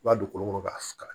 I b'a don kolo kɔnɔ k'a faga